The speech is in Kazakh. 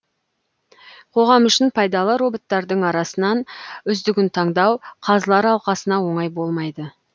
қоғам үшін пайдалы роботтардың арасынан үздігін таңдау қазылар алқасына оңай болмайды